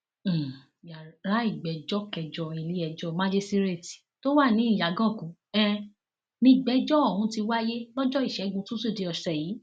um yàrá ìgbẹjọ kẹjọ iléẹjọ màjíṣíréètì tó wà ní ìyàgànkù um nígbèjò ọhún ti wáyé lọjọ ìṣẹgun túṣídéé ọsẹ yìí